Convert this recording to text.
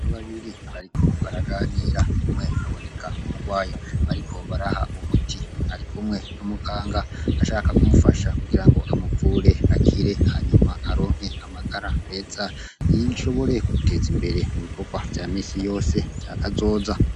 Ntu babiri bariko baraganira umwe baboneka umugwayi bariko baraha umuti arikumwe n'umuganga ashaka kumufasha kugira ngo amuvure akire hanyuma aronke amagara weza yishobore kuteza imbere mu bikorwa vya misi yose caka azoza.